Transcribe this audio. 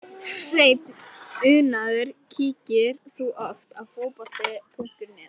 Hreinn unaður Kíkir þú oft á Fótbolti.net?